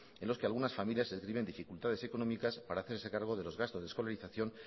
en los que algunas familias se dificultades económicas para hacerse cargo de los gastos de escolarización